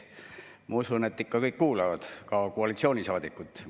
Ma usun, et kõik ikka kuulavad, ka koalitsioonisaadikud.